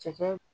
Cɛkɛ